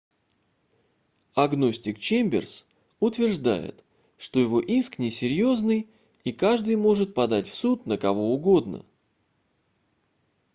агностик чемберс утверждает что его иск несерьезный и каждый может подать в суд на кого угодно